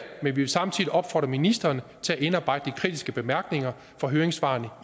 vi vil samtidig opfordre ministeren til at indarbejde de kritiske bemærkninger fra høringssvarene